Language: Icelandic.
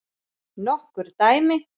Nokkur dæmi